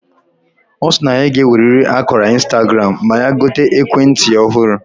Osi na ya ga eweriri akara Instagram ma ya gote ekwe nti ohuru